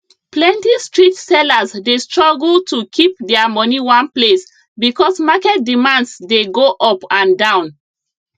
plenty street sellers dey struggle to kip their money one place because market demands dey go up and down